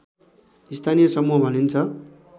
स्थानीय समूह भनिन्छ